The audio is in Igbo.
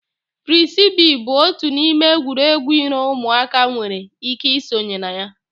Firisibi bụ otu n'ime egwuregwu iro ụmụaka nwere ike ị sonye na ya.